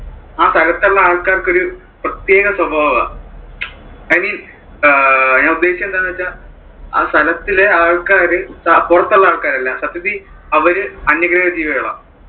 ആ സ്ഥലത്തുള്ള ആൾക്കാർക്ക് ഒരു പ്രത്യേക സ്വഭാവാ. i mean ഞാൻ ഉദ്ദേശിച്ചത്ത് എന്താണെന്നു വെച്ചാൽ, ആ സ്ഥലത്തുള്ള ആളുകൾ പുറത്തുള്ള ആള്‍ക്കാരല്ല. സത്യത്തിൽ അവര് അന്യഗ്രഹജീവികളാ.